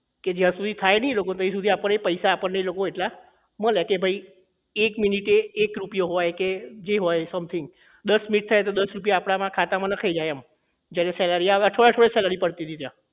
કે જ્યાં સુધી થાય નહીં લોકોને ત્યાં સુધી આપણને પૈસા આપણને એ લોકો એટલા મલે ભઈ એક મિનિટે એક રૂપિયો હોય જે હોય સમથિંગ